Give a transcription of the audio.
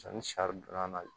ni sari donna na